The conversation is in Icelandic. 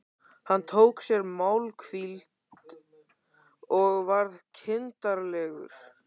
Hann tók sér málhvíld og varð kindarlegur.